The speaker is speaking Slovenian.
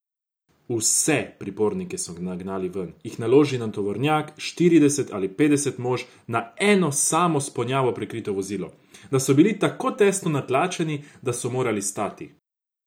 Vse pripornike so nagnali ven, jih naložili na tovornjak, štirideset ali petdeset mož na eno samo s ponjavo prekrito vozilo, da so bili tako tesno natlačeni, da so morali stati.